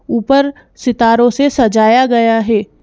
ऊपर सितारों से सजाया गया है।